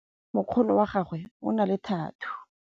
mokgono wa gagwe o na le thathuu